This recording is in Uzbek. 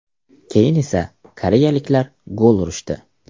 Keyin esa koreyaliklar gol urishdi.